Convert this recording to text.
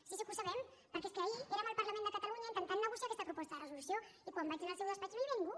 sí sí que ho sabem perquè és que ahir érem al parlament de catalunya intentant negociar aquesta proposta de resolució i quan vaig anar al seu despatx no hi havia ningú